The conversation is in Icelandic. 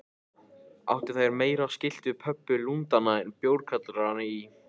Áttu þær meira skylt við pöbba Lundúna en bjórkjallara í